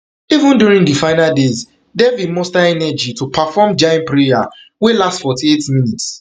even during di final days devi muster energy to perform jain prayer wey last forty-eight minutes